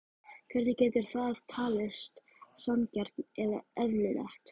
Hvernig getur það talist sanngjarnt eða eðlilegt?